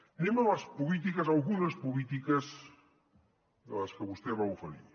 anem a les polítiques a algunes polítiques de les que vostè va oferir